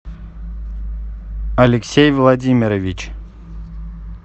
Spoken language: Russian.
алексей владимирович